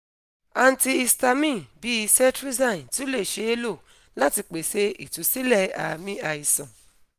antihistamines bii cetrizine tun le ṣee lo lati pese itusilẹ aami aisan